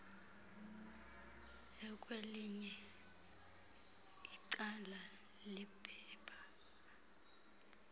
ekwelinye icala lephepha